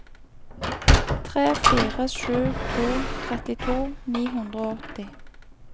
tre fire sju to trettito ni hundre og åtti